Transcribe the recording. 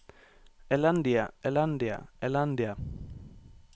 elendige elendige elendige